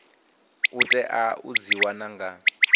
tea u dzi wana nga